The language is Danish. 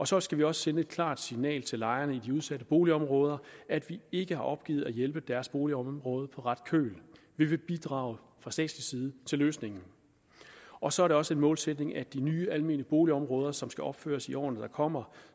så skal vi også sende et klart signal til lejerne i de udsatte boligområder at vi ikke har opgivet at hjælpe deres boligområde på ret køl vi vil bidrage fra statslig side til løsningen og så er det også en målsætning at de nye almene boligområder som skal opføres i årene der kommer